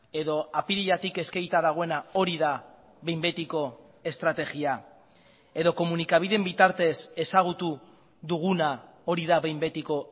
edo apiriletik eskegita dagoena hori da behin betiko estrategia edo komunikabideen bitartez ezagutu duguna hori da behin betiko